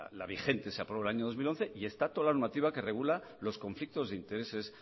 la vigente se aprobó en el año dos mil once y está toda la normativa que regula los conflictos de intereses